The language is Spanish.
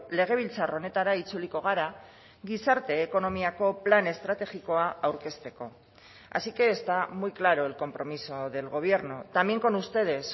legebiltzar honetara itzuliko gara gizarte ekonomiako plan estrategikoa aurkezteko así que está muy claro el compromiso del gobierno también con ustedes